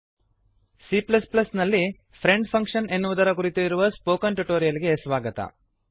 C ನಲ್ಲಿಯ friend function friend function ಎನ್ನುವುದರ ಕುರಿತು ಇರುವ ಸ್ಪೋಕನ್ ಟ್ಯುಟೋರಿಯಲ್ ಗೆ ಸ್ವಾಗತ